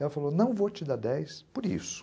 Ela falou, não vou te dar dez por isso.